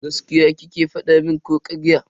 Gaskiya kike fada mun ko karya?